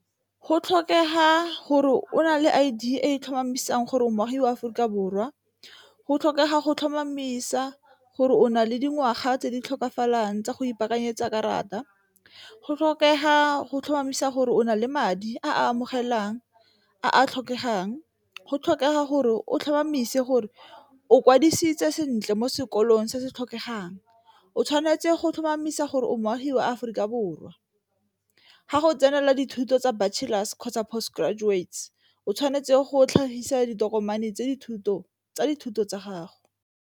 Go tlhokega gore o na le i e tlhomamisang gore moagi mo Aforika Borwa, go tlhokega go tlhomamisa gore o na le dingwaga tse di tlhokafalang tsa go ipakanyetsa karata, go tlhokega go tlhomamisa gore o na le madi a a amogelang a a tlhokegang, go tlhokega gore o tlhomamise gore o kwadisitswe sentle mo sekolong se se tlhokegang, o tshwanetse go tlhomamisa gore o motshiwa a Aforika Borwa. Ga go tsenela dithuto tsa Bachelor's kgotsa Postgraduates o tshwanetse go tlhagisa ditokomane tsa dithuto tsa gago.